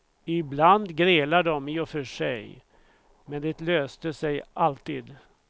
Ibland grälade de i och för sig, men det löste sig alltid.